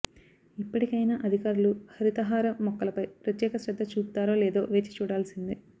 ఇప్పటికైనా అధికారులు హరితహారం మొక్కలపై ప్రత్యేక శ్రద్ద చూపుతారో లేదో వేచి చూడాల్చిందే